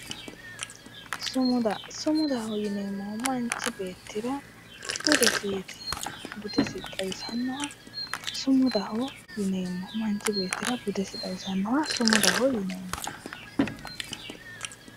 Sumuda sumudaho yineemmohu manchi beettira budesiiti budesi xawisannoha sumudaho yineemmo